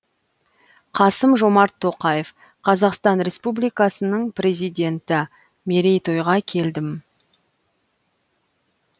қасым жомарт тоқаев қазақстан республикасының президенті мерейтойға келдім